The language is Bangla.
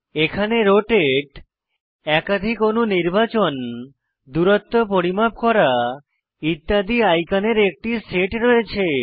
এখানে রোটেট একাধিক অণু নির্বাচন দূরত্ব পরিমাপ করা ইত্যাদি আইকনের একটি সেট রয়েছে